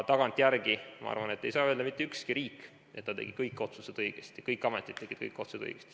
Tagantjärele, ma arvan, ei saa öelda mitte ükski riik, et ta tegi kõik otsused õigesti, et kõik ametid tegid kõik otsused õigesti.